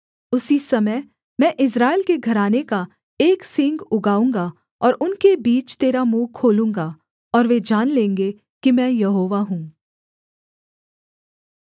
उसी समय मैं इस्राएल के घराने का एक सींग उगाऊँगा और उनके बीच तेरा मुँह खोलूँगा और वे जान लेंगे कि मैं यहोवा हूँ